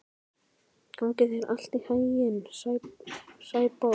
Gangi þér allt í haginn, Sæborg.